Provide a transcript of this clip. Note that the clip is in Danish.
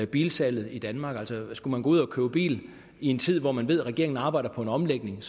bilsalget i danmark altså skal man ud at købe bil i en tid hvor man ved at regeringen arbejder på en omlægning